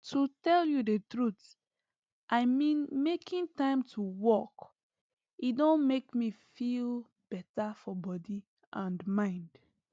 to tell you the truth i mean making time to walk e don make me feel better for body and mind